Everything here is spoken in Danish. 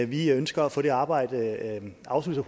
vi ønsker at få det arbejde afsluttet